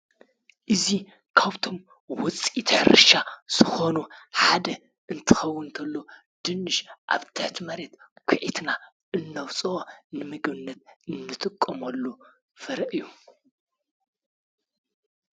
እዚ ካብቶም ውፂኢት ሕርሻ ዝኾኑ ሓደ እንትኸዉን እንተሎ ድንሽ ኣብ ትሕቲ መሬት ኲዒትና እነውፅኦ ንምግብነት ኣንጥቀመሉ ፍረ እዩ።